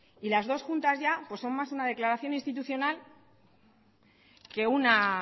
y las dos juntas ya pues son más una declaración institucional que una